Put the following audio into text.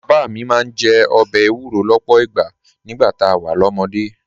Bàbá mi máa ń jẹ ọbẹ̀ èwúrọ̀ lọ́pọ̀ ìgbà nígbà tá a wà lọ́mọdé